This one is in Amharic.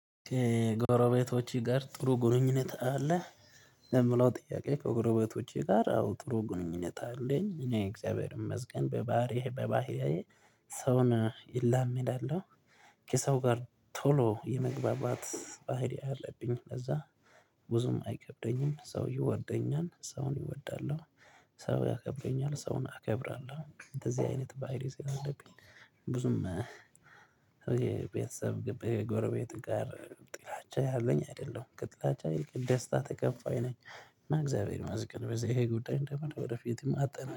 ከጎረቤቶቼ ጋር ጥሩ ግንኙነት አለ የምለው ጥያቄ ከጎረቤቶቼ ጋር አዎ ጥሩ ግንኙነት አለኝ እኔ እግዚአብሔር እመስገን በባህሪህ በባህሪዬ ሰውን እላመዳለው። ከሰው ጋር ቶሎ የመግባባት ባህሪ አለብኝ ከዛ ብዙም አይከብደኝም ሰው ይወደኛል ሰውን ይወዳለሁ ሰው ያከብረኛል ሰውን አከብራለሁ እንደዚህ አይነት ባህሪ ብዙም የቤተሰብ ግብ የጎረቤት ጋር ጥላቻ ያለኝ አይደለም ጥላቻ ይልቅ ደስታ ተቀባይ ነኝ እና እግዚአብሔር መስገን በዚህ ይሄ ጉዳይ እንደምር ወደፊትም አጠና